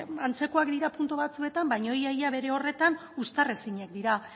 antzekoak dira puntu batzuetan baina ia ia bere horretan uztar ezinak dira